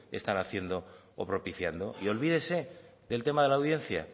están haciendo o propiciando y olvídese del tema de la audiencia